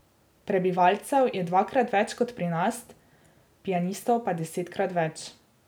Prebivalcev je dvakrat več kot pri nas, pianistov pa desetkrat več.